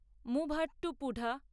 Muvattupuzha